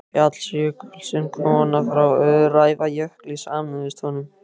Fjallsjökull, sem koma frá Öræfajökli, sameinuðust honum.